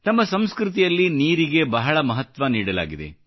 ನಮ್ಮ ಸಂಸ್ಕೃತಿಯಲ್ಲಿ ನೀರಿಗೆ ಬಹಳ ಮಹತ್ವ ನೀಡಲಾಗಿದೆ